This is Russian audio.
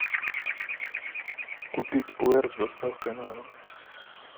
купить пуэр с доставкой на дом